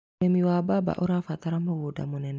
Ũrĩmi wa mbamba ũrabatara mũgũnda mũnene.